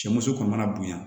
Cɛ muso kɔni mana bonya